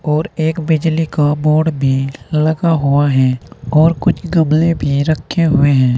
और एक बिजली का बोर्ड भी लगा हुआ हैं और कुछ गमले भी रखे हुए हैं।